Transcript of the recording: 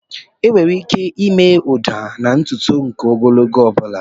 Enwere ike ịme ụda na ntutu nke ogologo ọ bụla.